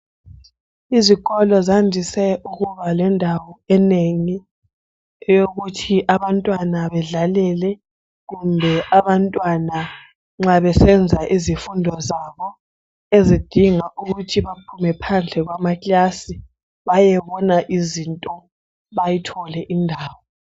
Izikolo zandise ukuba lendawo enengi eyokuthi abantwana bedlalele kumbe abantwana nxa besenza izifundo zabo zidinga ukuthi baphume phandle kwamakilasi bayebona izinto bayithole indawo.